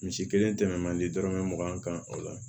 Misi kelen tɛmɛn man di dɔrɔmɛ mugan kan o la